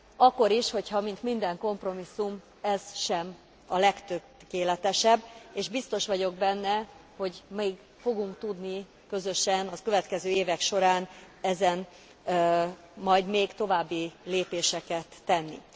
Akkor is hogyha, mint minden kompromisszum ez sem a legtökéletesebb, és biztos vagyok benne, hogy még fogunk tudni közösen a következő évek során majd még további lépéseket tenni.